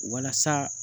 Walasa